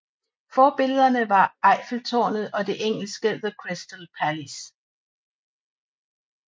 Forbillederne var Eiffeltårnet og det engelske The Crystal Palace